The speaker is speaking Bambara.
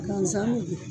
Gansan bɛ